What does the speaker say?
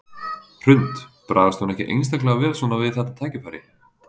Hrund: Bragðast hún ekki einstaklega vel svona við þetta tækifæri?